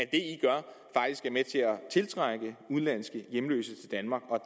tiltrække udenlandske hjemløse til danmark